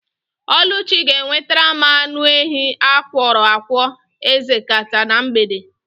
Ọlụchi ga-ewetara m anụ ehi akwọrọ akwọ ekzeta na mgbede.